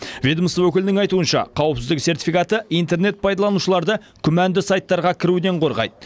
ведомство өкілінің айтуынша қауіпсіздік сертификаты интернет пайдаланушыларды күмәнді сайттарға кіруден қорғайды